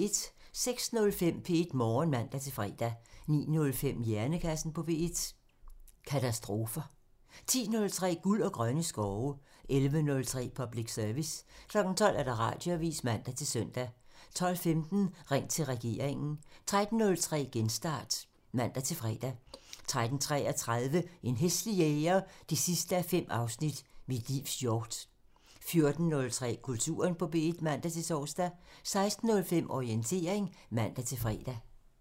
06:05: P1 Morgen (man-fre) 09:05: Hjernekassen på P1: Katastrofer 10:03: Guld og grønne skove (man) 11:03: Public Service (man) 12:00: Radioavisen (man-søn) 12:15: Ring til regeringen (man) 13:03: Genstart (man-fre) 13:33: En hæslig jæger 5:5 – Mit livs hjort 14:03: Kulturen på P1 (man-tor) 16:05: Orientering (man-fre)